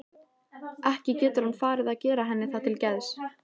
Ekki getur hann farið að gera henni það til geðs?